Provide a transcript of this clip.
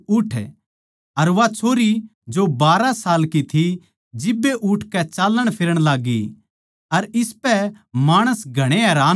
अर वा छोरी जो बारहा साल की थी जिब्बे उठकै चाल्लणफिरण लाग्गी अर इसपै माणस घणे हैरान होगे